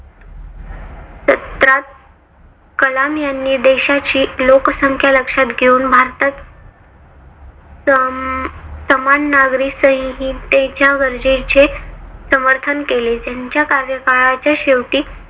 कलाम यांनी देशाची लोकसंख्या लक्षात घेऊन भारतात सम समान नागरी संहितेच्या गरजेचे समर्थन केले. त्यांच्या कार्यकाळाच्या शेवटी